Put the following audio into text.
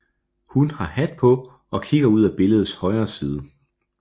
Han har hat på og kigger ud af billedets højre side